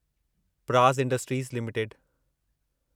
Praj industries limited